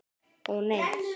Ó nei.